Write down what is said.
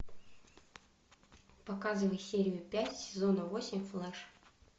показывай серию пять сезона восемь флеш